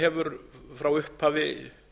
hefur frá upphafi